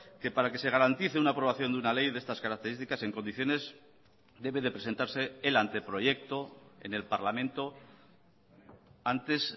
que para que se garantice una aprobación de una ley de estas características en condiciones debe de presentarse el anteproyecto en el parlamento antes